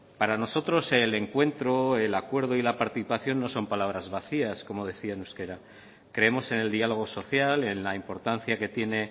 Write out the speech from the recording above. para nosotros el encuentro el acuerdo y la participación no son palabras vacías como decía en euskera creemos en el diálogo social en la importancia que tiene